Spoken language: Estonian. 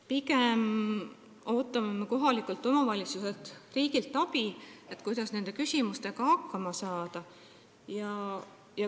Pigem me ootame kohalikus omavalitsuses riigilt abi, kuidas nende küsimustega hakkama saada.